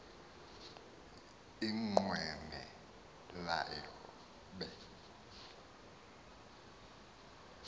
inqweme layo be